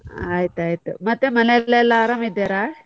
ಆಯ್ತಾಯ್ತು, ಮತ್ತೆ ಮನೆಯಲ್ಲಿ ಎಲ್ಲ ಆರಾಮ್ ಇದ್ದಾರ?